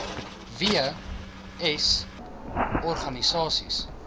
w s organisasies